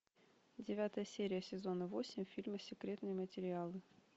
девятая серия сезона восемь фильма секретные материалы